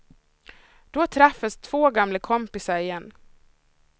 Då träffas två gamla kompisar igen.